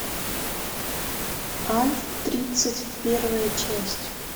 альф тридцать первая часть